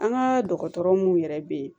An ka dɔgɔtɔrɔ mun yɛrɛ bɛ yen